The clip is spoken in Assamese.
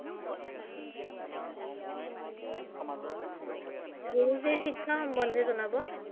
গুৰুজী শিক্ষা সম্বন্ধে জনাব